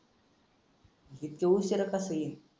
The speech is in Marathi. इतक्या उशिरा कसा येईल?